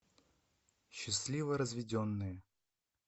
счастливо разведенные